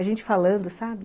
A gente falando, sabe?